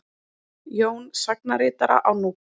Jón sagnaritara á Núpi.